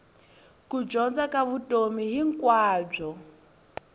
ku dyondza ka vutomi hinkwabyo